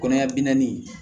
Kɔnɔɲɛ bi naani